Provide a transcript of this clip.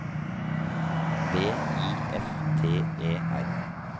V I F T E R